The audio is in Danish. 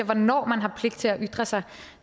hvornår man har pligt til at ytre sig